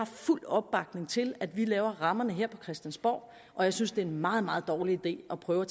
fuld opbakning til at vi laver rammerne her på christiansborg og jeg synes det er en meget meget dårlig idé at prøve at